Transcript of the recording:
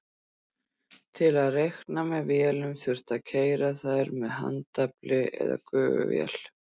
Til að reikna með vélunum þurfti að keyra þær með handafli eða gufuvél.